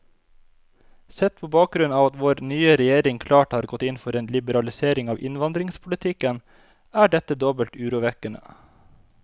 Sett på bakgrunn av at vår nye regjering klart har gått inn for en liberalisering av innvandringspolitikken, er dette dobbelt urovekkende.